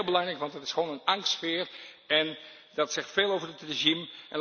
Dat is heel belangrijk, want er heerst gewoon een angstsfeer en dat zegt veel over het regime.